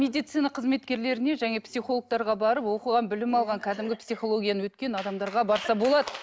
медицина қызметкерлеріне және психологтарға барып оқыған білім алған кәдімгі психологияны өткен адамдарға барса болады